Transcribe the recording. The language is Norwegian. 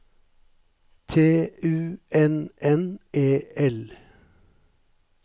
T U N N E L